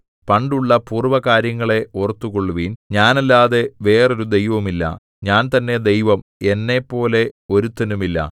പണ്ടുള്ള പൂർവ്വകാര്യങ്ങളെ ഓർത്തുകൊള്ളുവിൻ ഞാനല്ലാതെ വേറൊരു ദൈവമില്ല ഞാൻ തന്നെ ദൈവം എന്നെപ്പോലെ ഒരുത്തനുമില്ല